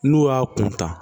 N'u y'a kuntaa